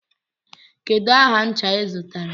Kedu aha ncha ị zụtara?